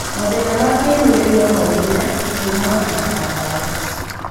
Mathĩna ma kĩmwĩrĩ no maumĩre kuumana na ndawa.